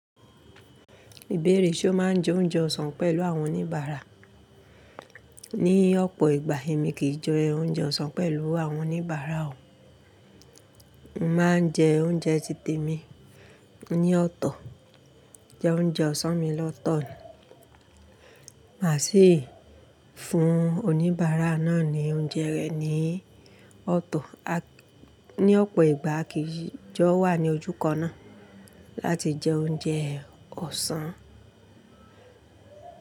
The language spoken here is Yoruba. Ìbéèrè ṣe o máa jẹ oúnjẹ ọsàn pẹ̀lú àwọn oníbàárà? Ní ọ̀pọ̀ ìgbà èmi kì í jẹ oúnjẹ ọsàn pẹ̀lú àwọn oníbàárà o. Mo máa ń jẹ oúnjẹ titẹ mi ní ọ̀tọ̀, jẹ oúnjẹ ọsàn mi lọ́tọ̀. Má sì fún oníbàárà náà ní oúnjẹ rẹ̀ ní ọ̀tọ̀. Ni ọ̀pọ̀ ìgbà akì í jọ wà ní ojúkan náà láti jẹ oúnjẹ ọsàn.